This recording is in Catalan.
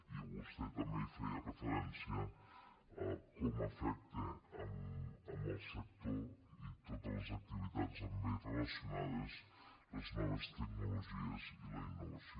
i vostè també feia referència a com afecten el sector i totes les activitats amb ell relacionades les noves tecnologies i la innovació